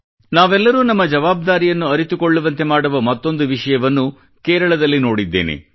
ನಾವೆಲ್ಲರೂ ನಮ್ಮ ಜವಾಬ್ದಾರಿಯನ್ನು ಅರಿತುಕೊಳ್ಳುವಂತೆ ಮಾಡುವ ಮತ್ತೊಂದು ವಿಷಯವನ್ನು ಕೇರಳದಲ್ಲಿ ನೋಡಿದ್ದೇನೆ